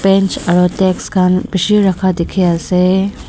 Bench aro text khan bishi rakha dekhi ase.